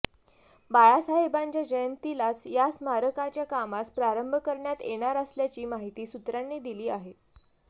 बाळासाहेबांच्या जयंतीलाच या स्मारकाच्या कामास प्रारंभ करण्यात येणार असल्याची माहिती सूत्रांनी दिली आहे